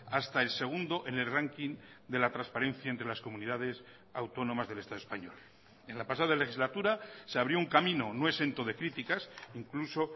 hasta el segundo en el ranking de la transparencia entre las comunidades autónomas del estado español en la pasada legislatura se abrió un camino no exento de críticas incluso